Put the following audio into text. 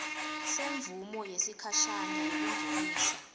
semvumo yesikhashane yekungenisa